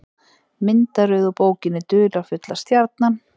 Myndaröð úr bókinni Dularfulla stjarnan.